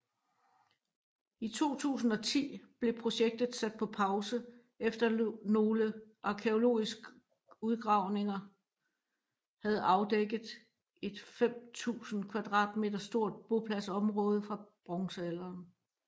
I 2010 blev projektet sat på pause efter nogle arkæologisk udgravning havde afdækket et 5000 kvadratmeter stort bopladsområde fra bronzealderen